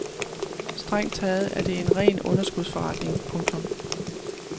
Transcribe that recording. Strengt taget er det en ren underskudsforretning. punktum